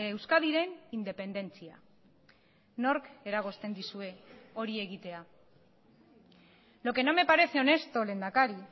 euskadiren independentzia nork eragozten dizue hori egitea lo que no me parece honesto lehendakari